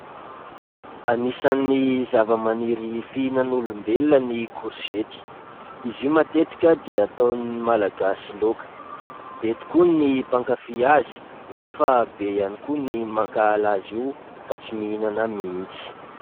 Anisan'ny zava-maniry fihinan'ny olombelona ny korzety. Izy io matetika dia ataon'ny Malagasy laoka. Be tokoa ny mpankafy azy nefa be ihany koa ny mankahala azy io ka tsy mihinana mihitsy.